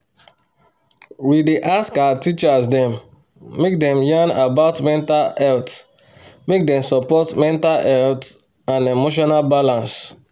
we dey ask our teachers dem make dem yan about mental health make dem support mental health and emotional balance